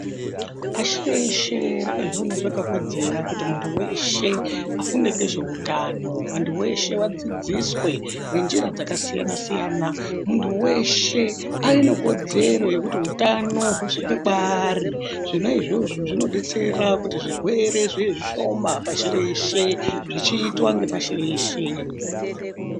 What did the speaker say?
Pashi reshe rakazviona zvakakodzera kuti munhu weshe afunge ngezveutano antu weshe adzidziswe ngenjira dzakasiyasiyana munhu weshe ave nekodzero yekuti utano husvike kwaari ,zvona izvo zvinodetsera kuti zvirwere zviwe zvishoma pashi reshe zvichiitwa ngepashi reshe.